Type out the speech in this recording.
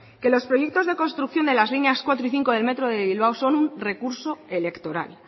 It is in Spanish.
que los proyectos de construcción de las líneas cuatro y cinco del metro de bilbao son un recurso electoral